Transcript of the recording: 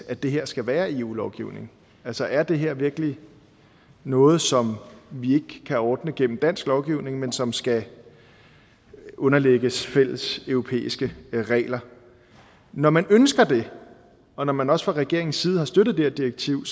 at det her skal være i eu lovgivningen altså er det her virkelig noget som vi ikke kan ordne gennem dansk lovgivning men som skal underlægges fælles europæiske regler når man ønsker det og når man også fra regeringens side har støttet det her direktiv